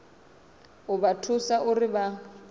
u vha thusa uri vha